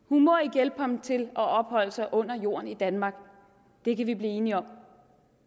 hjælpe ham til at opholde sig under jorden i danmark det kan vi blive enige om